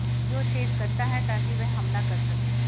जो छेद करता है ताकि वह हमला कर सके